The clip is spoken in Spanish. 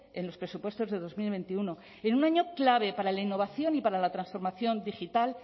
en los presupuestos de dos mil veintiuno en un año clave para la innovación y para la transformación digital